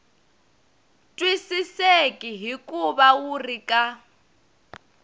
twisiseki hikuva wu ri ka